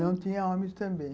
Não, tinha homens também.